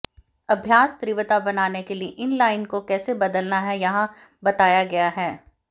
अभ्यास तीव्रता बनाने के लिए इनलाइन को कैसे बदलना है यहां बताया गया है